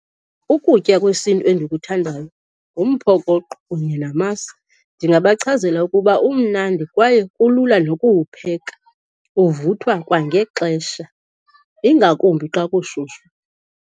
Ukutya kwesiNtu endikuthandayo ngumphokoqo kunye namasi. Ndingabachazela ukuba umnandi kwaye kulula nokuwupheka. Uvuthwa kwangexesha, ingakumbi xa kushushu.